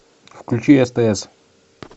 включи стс